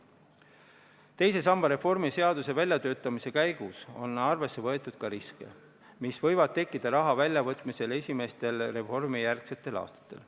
Teise samba reformi seaduse väljatöötamise käigus on arvesse võetud ka riske, mis võivad tekkida raha väljavõtmise tõttu esimestel reformijärgsetel aastatel.